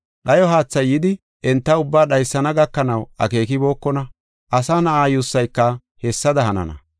Dhayo haathay yidi, enta ubbaa dhaysana gakanaw akeekibokona. Asa Na7aa yuussayka hessada hanana.